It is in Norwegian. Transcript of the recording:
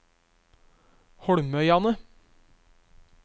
Holmøyane